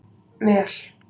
Mel